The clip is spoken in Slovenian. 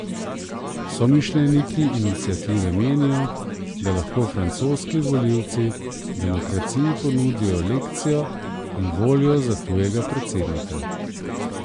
Somišljeniki iniciative menijo, da lahko francoski volivci demokraciji ponudijo lekcijo in volijo za tujega predsednika.